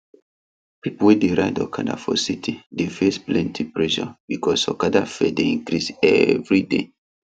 people wey dey ride okada for city dey face plenty pressure because okada fare dey increase every day